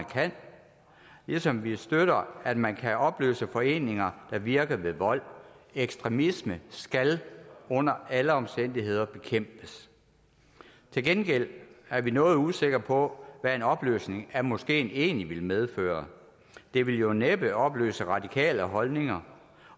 kan ligesom vi støtter at man kan opløse foreninger der virker ved vold ekstremisme skal under alle omstændigheder bekæmpes til gengæld er vi noget usikre på hvad en opløsning af moskeen egentlig ville medføre det ville jo næppe opløse radikale holdninger